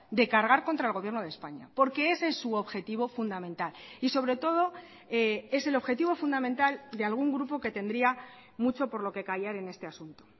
de cargar contra el gobierno de españa porque ese es su objetivo fundamental y sobre todo es el objetivo fundamental de algún grupo que tendría mucho por lo que callar en este asunto